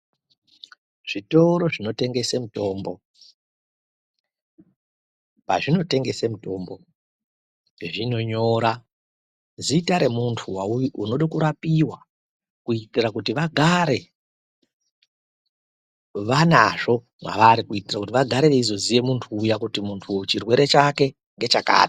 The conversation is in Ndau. Zvitoro zvinotengesa mitombo. Pazvinotengesa mitombo, zvinonyora zita remuntu unoda kurapiwa, kuitira kuti vagare vanazvo mwavari kuitira kuti vagare veizoziya kuti muntu uyu chirwere chake ngechakati.